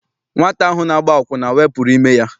Nwata ahụ na-agba akwụna wepụrụ ime ya.